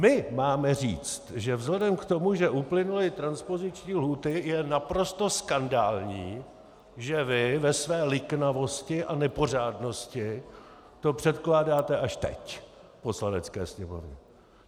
My máme říct, že vzhledem k tomu, že uplynuly transpoziční lhůty, je naprosto skandální, že vy ve své liknavosti a nepořádnosti to předkládáte až teď Poslanecké sněmovně.